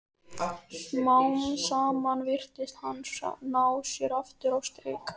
Smám saman virtist hann ná sér aftur á strik.